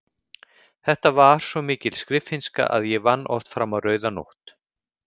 Þetta var svo mikil skriffinnska að ég vann oft fram á rauða nótt.